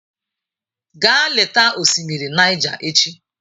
Gaa leta osimiri Niger echi!